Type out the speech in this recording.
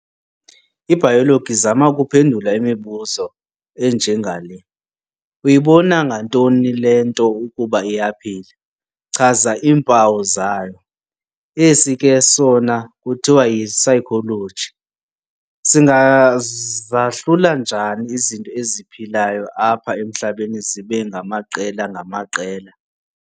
IBayologi izama ukuphendula imibuzo enje ngale- "Uyibona ngantoni le nto ukuba iyaphila? chaza iimpawu zayo."., esi ke sona kuthiwa yi"psychology", "Singazahlula njani izinto eziphilayo apha emhlabeni zibe ngamaqela-ngamaqela?